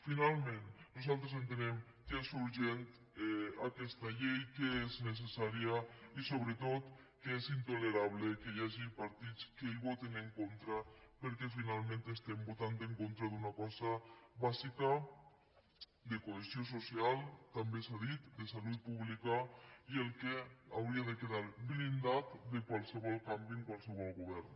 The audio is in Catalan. finalment nosaltres entenem que és urgent aquesta llei que és necessària i sobretot que és intolerable que hi hagi partits que hi votin en contra perquè finalment estem votant en contra d’una cosa bàsica de cohesió social també s’ha dit de salut pública i que hauria de quedar blindada de qualsevol canvi en qualsevol govern